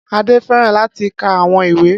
Ade fẹràn lati ka awọn iwe